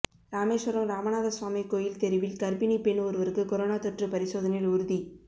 ராமேஸ்வரம் ராமநாதசுவாமி கோயில் தெருவில் கர்ப்பிணிப் பெண் ஒருவருக்கு கொரோனா தொற்று பரிசோதனையில் உறுதி